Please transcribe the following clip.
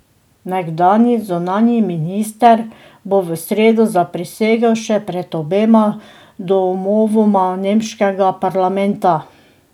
Nekdanji zunanji minister bo v sredo zaprisegel še pred obema domovoma nemškega parlamenta.